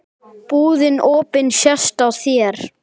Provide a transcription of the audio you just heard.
Búðin opin sést á þér.